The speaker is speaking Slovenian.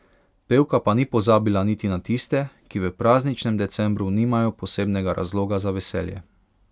Pevka pa ni pozabila niti na tiste, ki v prazničnem decembru nimajo posebnega razloga za veselje.